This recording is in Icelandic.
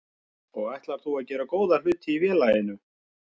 Og þú ætlar að gera góða hluti í félaginu?